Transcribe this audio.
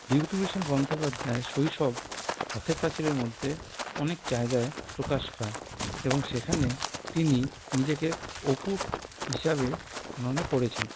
বিভূতিভূষণ বন্দ্যোপাধ্যায় শৈশব পথের পাঁচালির মধ্যে অনেক জায়গায় প্রকাশ পায় এবং সেখানে তিনি নিজেকে অপু হিসেবে গণনা করেছেন